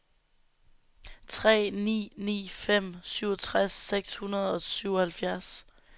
tre ni ni fem syvogtres seks hundrede og syvoghalvfjerds